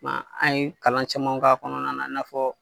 kuma an ye kalan caman k'a kɔnɔna na i n'a fɔ.